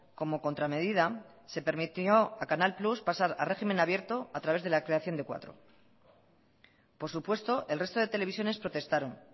como contra medida se permitió a canal plus pasar a régimen abierto a través de la creación de cuatro por supuesto el resto de televisiones protestaron